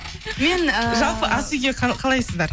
мен ііі жалпы ас үйге қалайсыздар